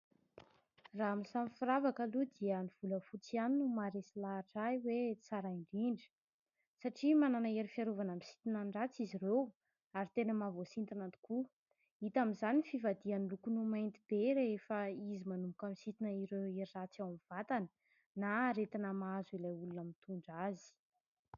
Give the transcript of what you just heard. Raha amin'ny samy firavaka aloha dia ny volafotsy ihany no maharesy lahatra ahy hoe tsara indrindra. Satria manana hery fiarovana misintona ny ratsy izy ireo ary tena mahavoasintona tokoa. Hita amin'izany ny fivadihan'ny lokony ho mainty be rehefa izy manomboka misintona ireo hery ratsy ao amin'ny vatana na aretina mahazo ilay olona mitondra azy.